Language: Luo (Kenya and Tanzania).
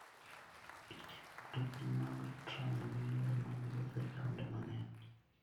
Mtokni mag tram gin yore mag wuoth e taonde mang'eny.